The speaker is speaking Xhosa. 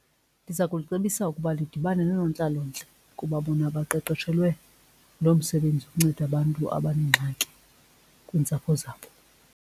Ndiza kulicebisa ukuba lidibane noonontlalontle kuba bona baqeqeshelwe loo msebenzi ukunceda abantu abanengxaki kwiintsapho zabo.